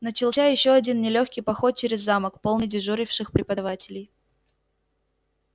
начался ещё один нелёгкий поход через замок полный дежуривших преподавателей